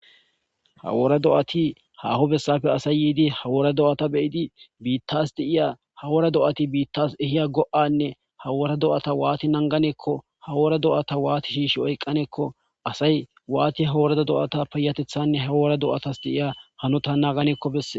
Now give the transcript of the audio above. hawora do7ati haho bessafe asay yiidi hawora do7ata beyidi biittas di7iya hawora do7ati biittas ehiya go7anne hawora do7ata waati nanganeekko hawora do7ata waati shiishi oyqqaneekko asay waati haworada do7ata payatethanne hawora do7atas di7iya hano ta naaganekko besse